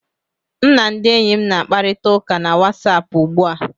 M na ndị enyi m na-akparịta ụka na Wasapụ ugbu a